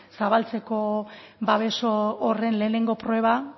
zabaltzeko babes horren lehenengo proba